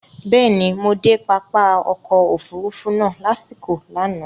Bẹ́ẹ̀ni, mo de pápá ọkọ̀ òfurufú náà lasiko lánàá